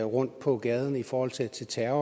rundt på gaden i forhold til til terror